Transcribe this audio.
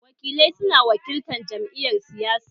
Wakilai su na wakiltar jam'iyar siyasa